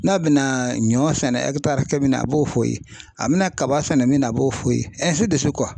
N'a bɛna ɲɔ sɛnɛ hakɛ min na a b'o f'o ye a bɛna kaba sɛnɛ min na a b'o fɔ i ye